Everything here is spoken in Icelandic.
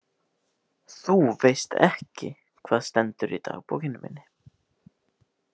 Þú veist ekki hvað stendur í dagbókinni minni